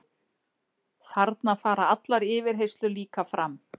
Þarna fara allar yfirheyrslur líka fram